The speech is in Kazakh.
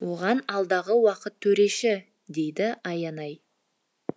оған алдағы уақыт төреші дейді аянай